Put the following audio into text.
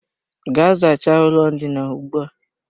Gaa zachaa ụlọ ndina ugbu a!